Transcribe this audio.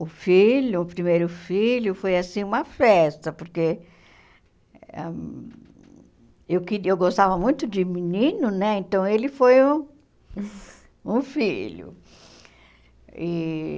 O filho, o primeiro filho, foi assim uma festa, porque ah eu queria eu gostava muito de menino né, então ele foi o um filho. E